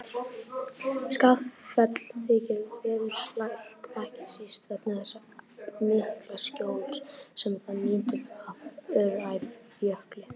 Skaftafell þykir veðursælt, ekki síst vegna þess mikla skjóls sem það nýtur af Öræfajökli.